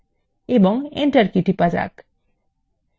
এবং enter key টিপুন